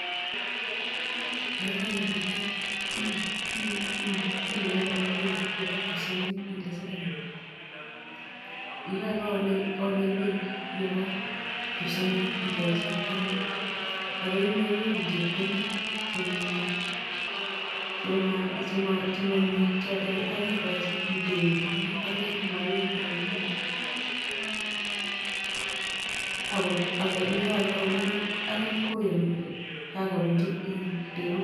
Yon kewe duket inae koron beit nebo kipsongik ile siling ata ye kainai beitab kipsongik ikochi chepkondok ako ya maiwekuk chepkondok chemanyie choto kakekochi itepe ilene kalya komaiwekwa kounoto ako neke aldachini akine kongen kole kangabunchin delut.